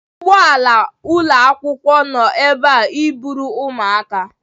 Ụgbọ ala ụlọ akwụkwọ nọ ebe a iburu ụmụaka.